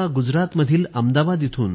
आदरणीय पंतप्रधान मी अहमदाबाद वरून